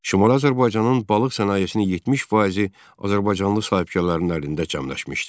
Şimali Azərbaycanın balıq sənayesinin 70 faizi azərbaycanlı sahibkarların əlində cəmləşmişdi.